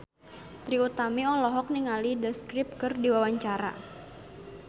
Trie Utami olohok ningali The Script keur diwawancara